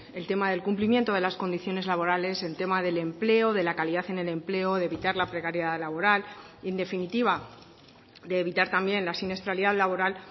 el tema del cumplimiento de las condiciones laborales el tema del empleo de la calidad en el empleo de evitar la precariedad laboral en definitiva de evitar también la siniestralidad laboral